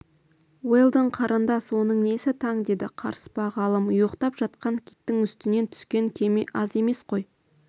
уэлдон қарындас оның несі таң деді қарыспа ғалым ұйықтап жатқан киттің үстінен түскен кеме аз емес қой